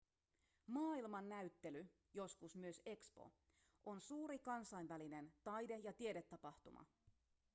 maailmannäyttely joskus myös expo on suuri kansainvälinen taide- ja tiedetapahtuma